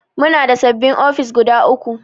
Muna da sabin ofis guda uku